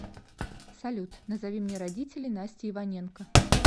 салют назови мне родителеи насти иваненко